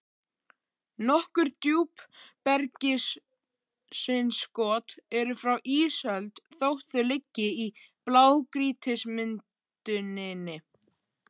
Nokkur djúpbergsinnskot eru frá ísöld þótt þau liggi í blágrýtismynduninni.